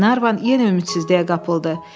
Glenarvan yenə ümidsizliyə qapıldı.